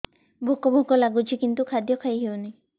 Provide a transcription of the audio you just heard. ଭୋକ ଭୋକ ଲାଗୁଛି କିନ୍ତୁ ଖାଦ୍ୟ ଖାଇ ହେଉନି